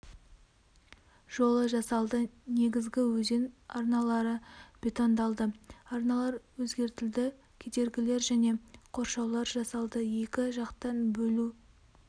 жолы жасалды негізгі өзен арналары бетондалды арналар өзгертілді кедергілер және қоршаулар жасалды екі жақтан бөлу